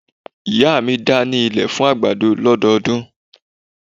Ìyá mi da ní ilẹ̀ fún àgbàdo lọ́dọọdún.